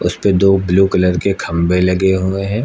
जिसपे दो blue colour के खंभे लगे हुए हैं।